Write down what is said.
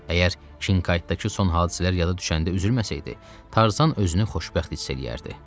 Əgər Şinkaytdakı son hadisələr yada düşəndə üzülməsəydi, Tarzan özünü xoşbəxt hiss eləyərdi.